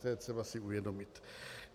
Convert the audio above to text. To je třeba si uvědomit.